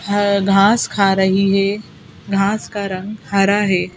है घास खा रही है घास का रंग हरा है।